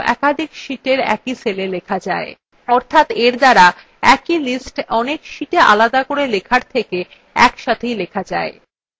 অর্থাৎ এর দ্বারা একই list অনেক listআলাদা করে লেখার থেকে একসাথেই লেখা যায়